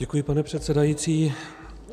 Děkuji, pane předsedající.